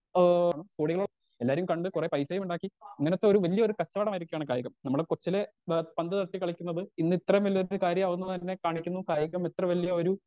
Speaker 2 ആ കോടികൾ എല്ലാരേയും കണ്ട് കൊറേ പൈസയും ഇണ്ടാക്കി ഇങ്ങനത്തൊരു വല്ല്യൊരു കച്ചോടമായിരിക്കാണ് കായികം നമ്മള് കൊച്ചിലേ ബ പന്ത് തട്ടി കളിക്കുന്നത് ഇന്നിത്രേം വല്ല്യൊരു കാര്യാവുന്നതന്നെ കാണിക്കുന്നു കായികം ഇത്ര വല്ല്യ ഒരു.